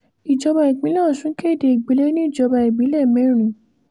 ìjọba ìpínlẹ̀ ọ̀sún kéde ìgbẹ̀lẹ̀ níjọba ìbílẹ̀ mẹ́rin